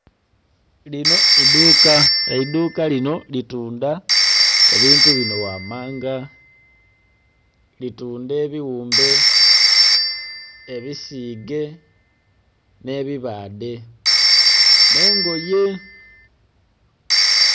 Lino idhuka, eidhuka lino litundha ebintu binho ghamanga. Litundha ebighumbe, ebisiige nhe bibaadhe nh'engoye.